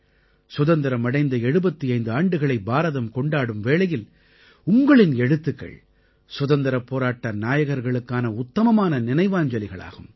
சுதந்திரம் அடைந்த 75 ஆண்டுகளை பாரதம் கொண்டாடும் வேளையில் உங்களின் எழுத்துக்கள் சுதந்திரப் போராட்ட நாயகர்களுக்கான உத்தமமான நினைவாஞ்சலிகளாகும்